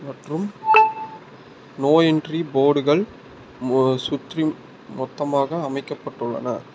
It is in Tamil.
மற்றும் நோ என்ட்ரி போர்டுகள் மு சுற்றி மொத்தமாக அமைக்கப்பட்டுள்ளன.